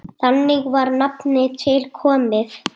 Þannig var nafnið til komið.